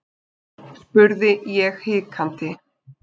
spurði ég hikandi.